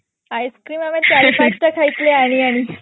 ice-cream ଆମେ ଚାରି ପାଞ୍ଚଟା ଖାଇଥିଲେ ଆଣି ଆଣି